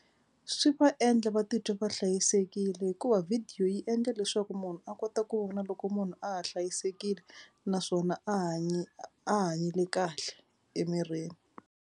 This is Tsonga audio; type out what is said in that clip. Swi va endla va titwa va hlayisekile hikuva video yi endla leswaku munhu a kota ku vona loko munhu a ha hlayisekile naswona a hanye a hanyile kahle emirini.